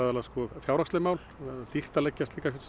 fjárhagsleg mál það er dýrt að leggja slíkan